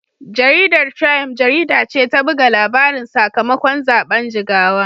Jaridar Triump jarida ce ta buga labarin sakamakon zaben Jigawa.